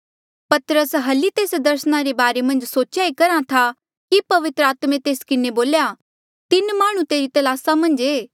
पतरस हली तेस दर्सना रे बारे मन्झ सोचेया ई करहा था कि पवित्र आत्मे तेस किन्हें बोल्या तीन माह्णुं तेरी तलासा मन्झ ऐें